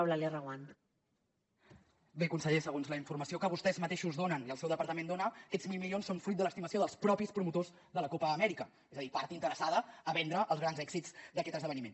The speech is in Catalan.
bé conseller segons la informació que vostès mateixos donen i el seu departament dona aquests mil milions són fruit de l’estimació dels propis promotors de la copa amèrica és a dir part interessada a vendre els grans èxits d’aquest esdeveniment